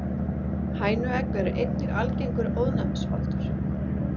hænuegg eru einnig algengur ofnæmisvaldur